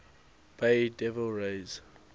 bay devil rays